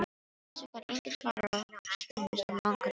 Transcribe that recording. Þessu gat enginn svarað og spunnust af langar umræður.